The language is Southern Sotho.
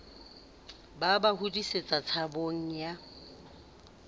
ba ba hodisetsa tshabong ya